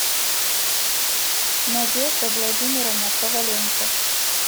надежда владимировна коваленко